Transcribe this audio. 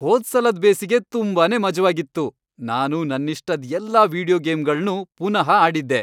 ಹೋದ್ಸಲದ್ ಬೇಸಿಗೆ ತುಂಬಾನೇ ಮಜವಾಗಿತ್ತು. ನಾನು ನನ್ನಿಷ್ಟದ್ ಎಲ್ಲಾ ವೀಡಿಯೊ ಗೇಮ್ಗಳ್ನೂ ಪುನಃ ಆಡಿದ್ದೆ.